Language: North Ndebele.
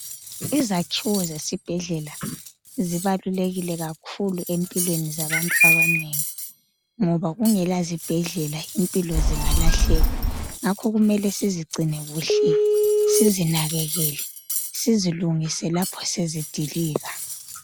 Izakhiwo zesibhedlela zibalulekile kakhulu empilweni zabantu abanengi ngoba kungela zibhedlela impilo zingalahleka, ngakho kumele sizigcine kuhle sizinakekele sizilungise lapho sezidilika.